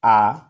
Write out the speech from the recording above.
Aa